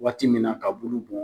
Waati min na ka bulu bɔn.